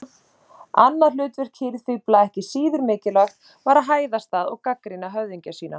Annað hlutverk hirðfífla, ekki síður mikilvægt, var að hæðast að og gagnrýna höfðingja sína.